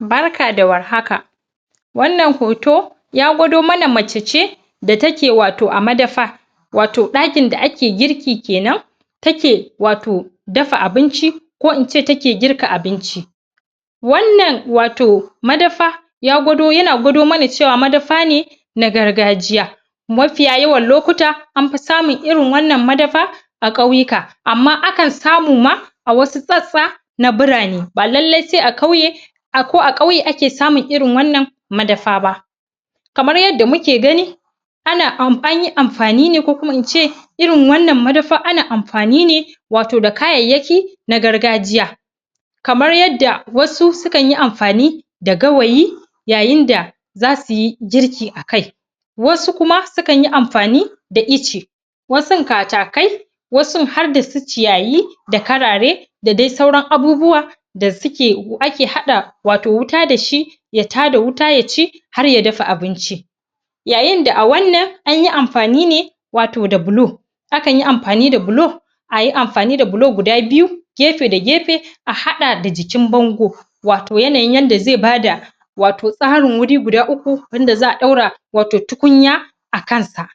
barka da warhaka wannan hoto ya gwado mana macece da take wato a madafa wato dakin da ake girki kenan take wato dafa abinci ko ince take girka abinci wannan wato madafa yana gwado mana cewa wannan madafa ne na gargajiya mafiya yawa anfi sanmun irin wannan madafa a kwauyuka amma akan samu ma a wasu tsatstsa na bura ne, ba lalle sai a kwauye ba ko a kauye ake samu irin wannan madafa ba kamar yadda muke gani ana amfani, anyi amfani ko kuma ince irin wannan madafa ana amfani ne wato da kayayyaki wato na gargajiya kamar yadda wasu sukan yi amfani da gawayi yayin dai za suyi girki a kai wasu kuma su kanyi amfani da ice wasun katakai wasun har da su ciyayi da karare da dai sauran abubuwa da suke ake hada wato wuta da shi ya tada wuta ya ci har ya dafa abinci yayin da a wannan anyi amfani ne wato da bulo akanyi amfani da bulo ayi amfani da bulo guda biyu gefe da gefe a hada da jikin bando wato yanayin yadda zai ba da tsarin wuri guda uku wanda za a dora wato tukunya a kansa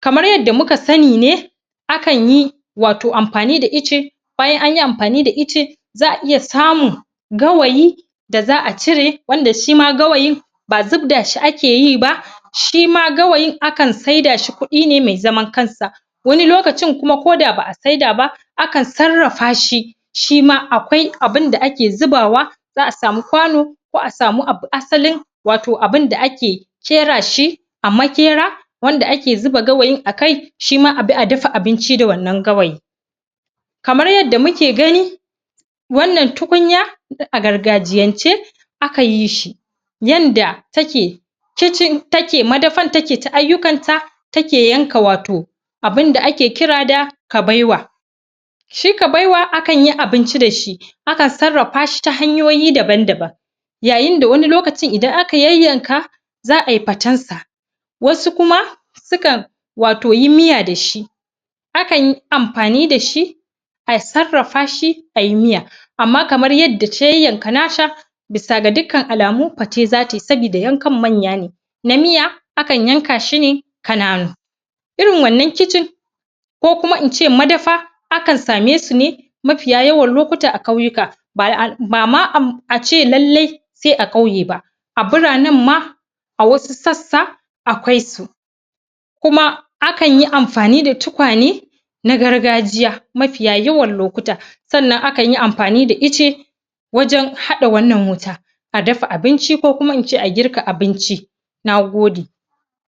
kamar yadda muka sani ne akan yi wato amfani da ice bayan anyi amfani da ice za a iya sanun gawayi za a cire wanda shima gawayin ba zubda shi ake yi ba shi ma gawayin akan sai da shi kudi ne mai zaman kansa wani lokaci kuma ko da ba a saida ba akan sarrafa shi shi ma akwai abin da ake zaubawa za a sami kwano ko a sami asalin wato abin da ake kera shi a makera wanda ake zuba gawayin a kai shi ma abi a dafa abinci da wannan gawayi kamar yadda muke gani wannan tukunya a gargajiyance aka yi shi yanda take kicin take madafar take ta ayyukan ta take yanka wato abin da ake kira da kabewa shi kabewa akan yi abinci da shi akan sarrafa shi ta hanyoyi daban-daban yayin da wani lokacin idan aka yanyanka za ay fatan sa wasu kuma sukan wato yi miya da shi akan yi amfani da shi a sarrafa shi ay miya amma kamar yadda ta yanyanka nata bisa ga dukkan alamu fate za ta yi sabida yankan manya ne na miya akan yanka shi ne kananu irin wannan kicin kokuma in ce madafa akan samai su ne mafiya yawan lokuta a kauyuka bam bama am a ce lalle sai a kauye ba a buranan ma a wasu sassa akwai su kuma akan yi amfani da tukwane na gargajiya mafiya yawan lokuta sannan akan yi amfani da icce wajan hada wannan wuta a dafa a binci kokuma ince a girka abinci na gode